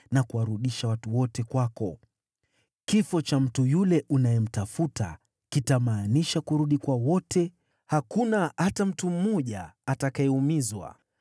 na kuwarudisha watu wote kwako. Kifo cha mtu yule unayemtafuta kitamaanisha kurudi kwa wote, hakuna hata mtu mmoja atakayeumizwa.”